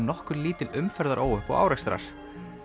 nokkur lítil umferðaróhöpp og árekstrar